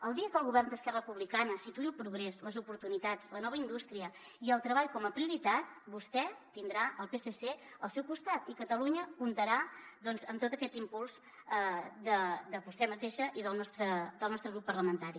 el dia que el govern d’esquerra republicana situï el progrés les oportunitats la nova indústria i el treball com a prioritat vostè tindrà el psc al seu costat i catalunya comptarà doncs amb tot aquest impuls de vostè mateixa i del nostre grup parlamentari